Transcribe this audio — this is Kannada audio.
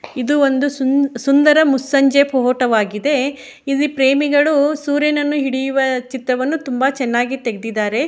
ಇದು ಒಂದು ಸುಂದ್ ಸುಂದರವಾದ ಮುಸ್ಸಂಜೆ ಫೋಟೋ ವಾಗಿದೆ ಇಲ್ಲಿ ಪ್ರೇಮಿಗಳು ಸೂರ್ಯವನ್ನು ಹಿಡಿಯುವ ಚಿತ್ರವನ್ನು ತುಂಬ ಚೆನ್ನಾಗಿ ತೆಗ್ದಿದ್ದರೆ.